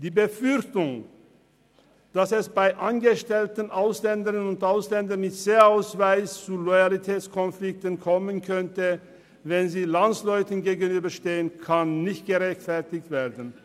Die Befürchtung, dass es bei angestellten Ausländern mit C-Ausweis zu Loyalitätskonflikten kommen könnte, wenn sie Landsleuten gegenüberstehen, kann nicht gerechtfertigt werden.